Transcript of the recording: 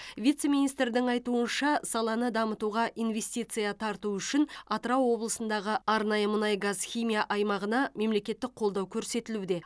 вице министрдің айтуынша саланы дамытуға инвестиция тарту үшін атырау облысындағы арнайы мұнай газ химия аймағына мемлекеттік қолдау көрсетілуде